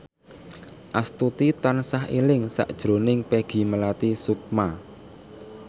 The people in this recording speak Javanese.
Astuti tansah eling sakjroning Peggy Melati Sukma